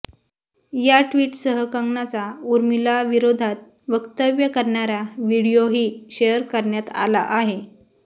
या ट्वीटसह कंगनाचा उर्मिलाविरोधात वक्तव्य करणारा व्हिडीओही शेअर करण्यात आला आहे